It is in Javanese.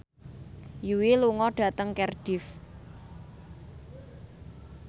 Yui lunga dhateng Cardiff